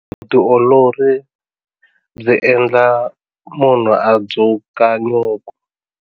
Vutiolori byi endla munhu a dzuka nyuku.